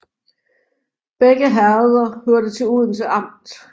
Begge herreder hørte til Odense Amt